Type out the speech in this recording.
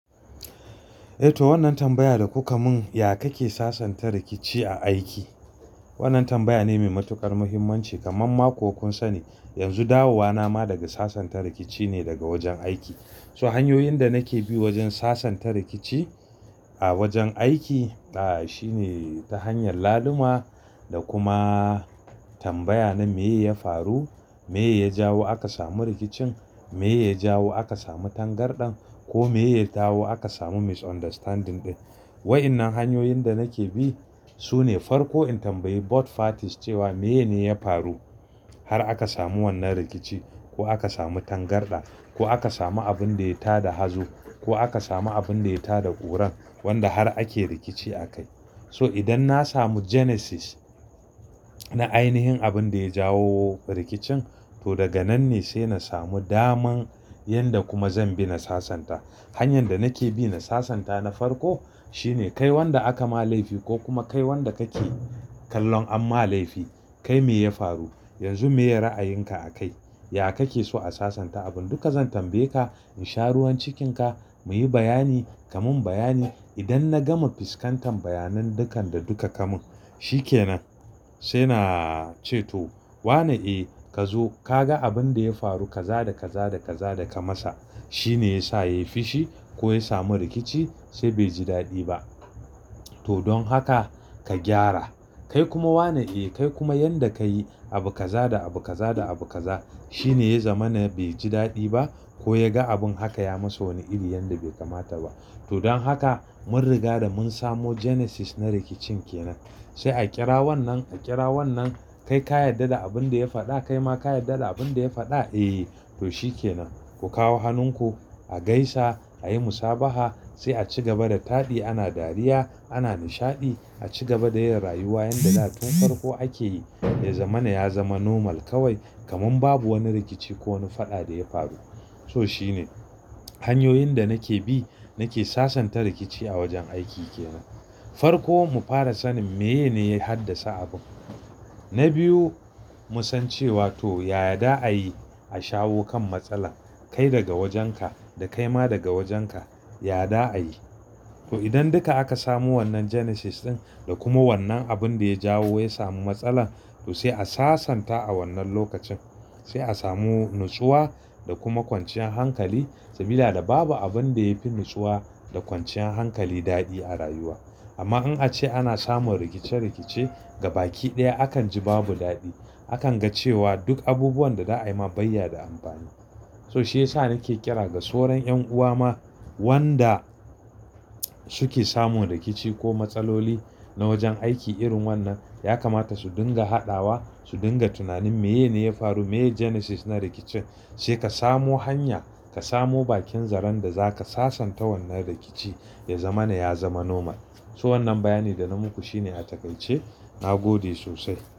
Eh to wannan tambaya da kuka mun, ya kake sasanta rikici a aiki? Wannan tambaya ne mai matuƙar muhimmanci kaman ma ko kun sani. Yanzu dawowa na ma daga sasanta rikici ne daga wajen aiki. So hanyoyin da nake bi wajen sasanta rikici a wajen aiki, ah shine ta hanyar laluma da kuma tambaya na meye ya faru, meye ya jawo aka samu rikicin, meye ya jawo aka samu tangarɗan ko meye ya jawo aka samu misunderstanding ɗin. Wa'innan hanyoyin da nake bi sune farko in tambayi both parties cewa, "meyene ya faru har aka samu wannan rikici ko aka samu tangarɗa ko aka samu abin da ya ta da hazo ko aka samu abin da ya ta da ƙuran wanda har ake rikici akai." So idan na samu genesis na ainihin abin da ya jawo rikicin to daga nan ne sai na samu daman yanda kuma zan bi na sasanta. Hanyan da nake bi na sasanta na farko shine kai wanda aka ma laifi ko kuma kai wanda kake kallon an ma laifi kai meye ya faru, yanzu meye ra'ayinka akai? Ya kake so a sasanta abun? Duka zan tambaye ka in sha ruwan cikinka meye bayani, kamun bayani. Idan na gama fuskantar bayanan dukan da duka kamun, shi ke nan sai na ce to "wane e ka zo ka ga abin da ya faru ka za da ka za da ka za da ka masa. Shi ne ya sa ya yi fushi ko ya samu rikici sai bai ji daɗi ba. To don haka ka gyara." Kai kuma wane e kai kuma yanda ka yi abu ka za da abu ka za da abu ka za shi ne ya zama na bai ji daɗi ba ko ya ga abin haka yayi masa wani iri yanda bai kamata ba. To don haka mun riga da mun samo genesis na rikicin kenan. Sai a ƙira wannan, a ƙira wannan kai ka yadda da abin da ya faɗa kai ma ka yadda da abin da ya faɗa, eh to shi ke nan. Ku kawo hannunku a gaisa a yi musabaha sai a ci gaba da taɗi ana dariya ana nishaɗi a ci gaba da yin rayuwa yanda da tun farko ake yi. Ya zama na ya zama normal kawai kaman babu wani rikici ko wani faɗa da ya faru. So shi ne hanyoyin da nake bi nake sasanta rikici a wajen aiki kenan. Farko mu fara sanin meye ne ya haddasa abun. Na biyu mu san cewa to ya za a yi a shawo kan matsalar kai daga wajenka da kai ma daga wajenka, ya da a yi. To idan duka aka samu wannan genesis ɗin da kuma wannan abin da ya jawo ya samu matsalar to sai a sasanta a wannan lokacin. Sai a samu natsuwa da kuma kwanciyan hankali. Tamila da babu abin da yafi natsuwa da kwanciyan hankali daɗi a rayuwa. Amma in ace ana samun rikice-rikice gaba ki ɗaya akan ji babu daɗi. Akan ga cewa duk abubuwan da za a yi ma bayya da amfani. So shi ya sa nake kira ga sauran 'yan'uwa ma wanda suke samun rikici ko matsaloli na wajen aiki irin wannan. Ya kamata su dinga haɗawa, su dinga tunanin meye ne ya faru, meye genesis na rikicin. Sai ka samu hanya, ka samu bakin zaron da zaka sasanta wannan rikici ya zama na ya zama normal. So wannan bayani da na muku shine a takaice. Na gode sosai.